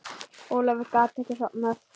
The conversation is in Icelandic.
Ólafur gat ekki sofnað.